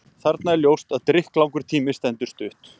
Þarna er ljóst að drykklangur tími stendur stutt.